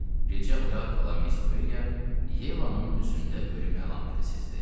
Gecə oyaq qalan Miss Ofeliya Yevanın üzündə ölüm əlaməti sezdi.